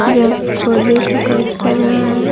यह फोड़ने का काम कर रहा है।